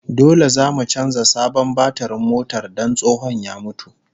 Dole zamu canza sabon batirin motar don tsohon ya mutu